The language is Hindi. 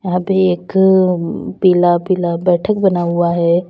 यहां पे एक पीला पीला बैठक बना हुआ है।